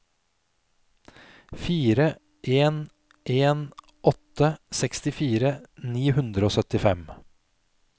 fire en en åtte sekstifire ni hundre og syttifem